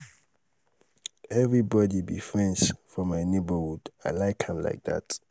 everybody be friends for my neighborhood. i like am like dat.